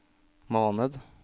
måned